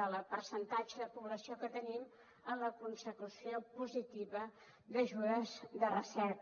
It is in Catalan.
del percentatge de població que tenim en la consecució positiva d’ajudes de recerca